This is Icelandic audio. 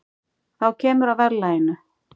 þá kemur að verðlaginu